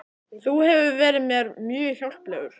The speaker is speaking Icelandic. Þú hefur verið mér mjög hjálplegur